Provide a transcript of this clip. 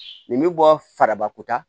Nin bɛ bɔ farabako ta